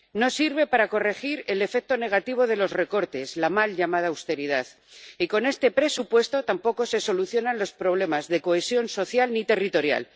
No sirve para corregir el efecto negativo de los recortes —la mal llamada austeridad— y con este presupuesto tampoco se solucionan los problemas de cohesión social ni territorial.